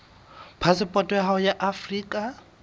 phasepoto ya hao ya afrika